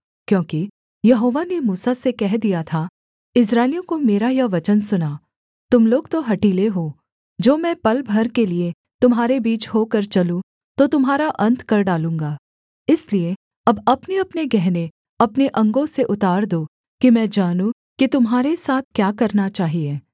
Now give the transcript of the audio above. क्योंकि यहोवा ने मूसा से कह दिया था इस्राएलियों को मेरा यह वचन सुना तुम लोग तो हठीले हो जो मैं पल भर के लिये तुम्हारे बीच होकर चलूँ तो तुम्हारा अन्त कर डालूँगा इसलिए अब अपनेअपने गहने अपने अंगों से उतार दो कि मैं जानूँ कि तुम्हारे साथ क्या करना चाहिए